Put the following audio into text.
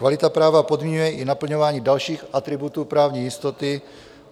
Kvalita práva podmiňuje i naplňování dalších atributů právní jistoty.